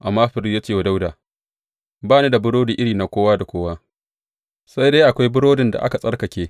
Amma firist ya ce wa Dawuda, Ba ni da burodi iri na kowa da kowa, sai dai akwai burodin da aka tsarkake.